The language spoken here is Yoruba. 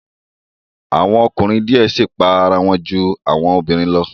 Awọn ọkunrin diẹ sii pa ara wọn ju awọn obinrin lọ